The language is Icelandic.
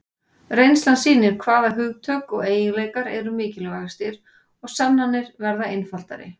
Reynslan sýnir hvaða hugtök og eiginleikar eru mikilvægastir og sannanir verða einfaldari.